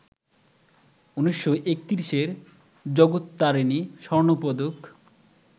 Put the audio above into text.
১৯৩১-এ "জগত্তারিণী স্বর্ণপদক"